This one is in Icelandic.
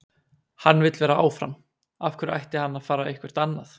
Hann vill vera áfram, af hverju ætti hann að fara eitthvert annað?